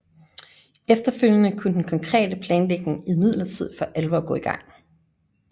Efterfølgende kunne den konkrete planlægning imidlertid for alvor gå i gang